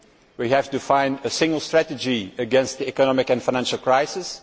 we have to find a single strategy against the economic and financial crisis.